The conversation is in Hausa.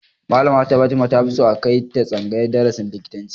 Malama Fatima ta fi so a kai ta tsangayar darasin likitanci